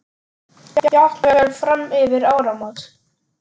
Jafnvel fram yfir áramót.